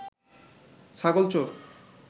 ছাগল চোর